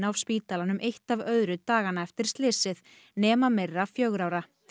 af spítalanum eitt af öðru dagana eftir slysið nema Myrra fjögurra ára